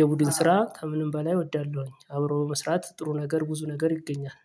የቡድን ስራ ከምንም በላይ እወዳለሁኝ አብረው በመስራት ጥሩ ነገር ብዙ ነገር ይገኛል።